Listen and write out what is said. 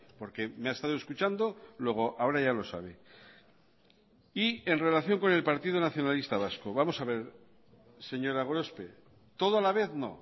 porque me ha estado escuchando luego ahora ya lo sabe y en relación con el partido nacionalista vasco vamos a ver señora gorospe todo a la vez no